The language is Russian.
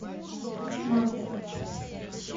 маркер